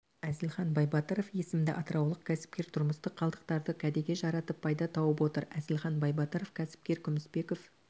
әзілхан байбатыров есімді атыраулық кәсіпкер тұрмыстық қалдықтарды кәдеге жаратып пайда тауып отыр әзілхан байбатыров кәсіпкер күмісбеков